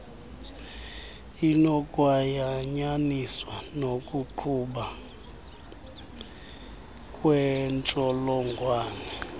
inokwayanyaniswa nokugquba kwentshjolongwane